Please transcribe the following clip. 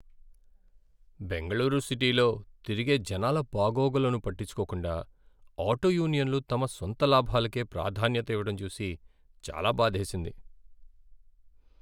బెంగళూరు సిటీలో తిరిగే జనాల బాగోగులను పట్టించుకోకుండా ఆటో యూనియన్లు తమ సొంత లాభాలకే ప్రాధాన్యత ఇవ్వడం చూసి చాలా బాధేసింది.